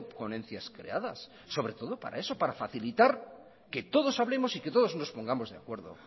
ponencias creadas sobre todo para eso para facilitar que todos hablemos y que todos nos pongamos de acuerdo